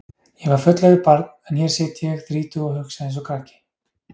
Ég var fullorðið barn en hér sit ég þrítug og hugsa einsog krakki.